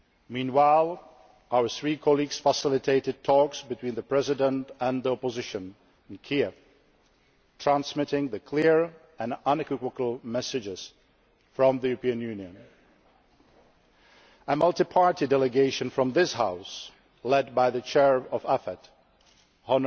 Meanwhile, our three colleagues facilitated talks between the President and the opposition in Kiev, transmitting the clear and unequivocal messages from the European Union. A multi party delegation from this House, led by the Chair of the Committee on Foreign